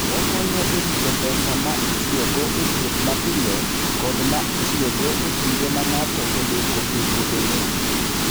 Okonyo e rito pesa ma itiyogo e thieth mapiyo kod ma itiyogo e kinde ma ng'ato odeko e wuodhene.